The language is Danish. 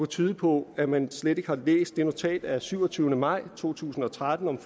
tyde på at man slet ikke har læst det notat af syvogtyvende maj to tusind og tretten om